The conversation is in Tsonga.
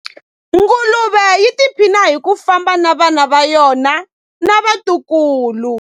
Nguluve yi tiphina hi ku famba na vana va yona na vatukulu.